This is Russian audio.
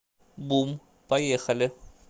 бум поехали